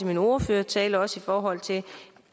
min ordførertale også i forhold til